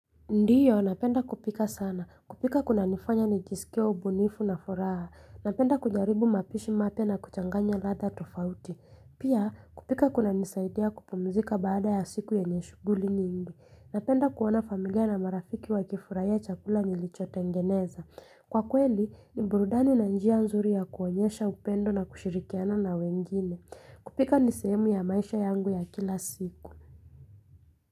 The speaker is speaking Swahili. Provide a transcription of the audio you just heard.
Ndiyo, napenda kupika sana. Kupika kuna nifanya nijiskie, ubunifu na furaha. Napenda kujaribu mapishi mapya na kuchanganya latha tofauti. Pia, kupika kuna nisaidia kupumzika baada ya siku ya yenye shuguli nyingi. Napenda kuona familia na marafiki wa kifurahia chakula nilicho tengeneza. Kwa kweli, umburudani na njia nzuri ya kuonyesha upendo na kushirikiana na wengine. Kupika ni sehemu ya maisha yangu ya kila siku.